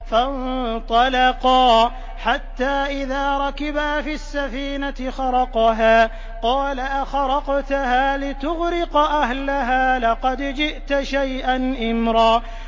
فَانطَلَقَا حَتَّىٰ إِذَا رَكِبَا فِي السَّفِينَةِ خَرَقَهَا ۖ قَالَ أَخَرَقْتَهَا لِتُغْرِقَ أَهْلَهَا لَقَدْ جِئْتَ شَيْئًا إِمْرًا